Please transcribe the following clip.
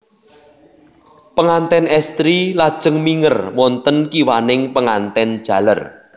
Panganten estri lajeng minger wonten kiwaning panganten jaler